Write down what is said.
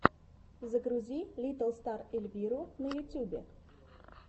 загрузи литтл стар эльвиру на ютьюбе